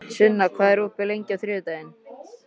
Sunna, hvað er opið lengi á þriðjudaginn?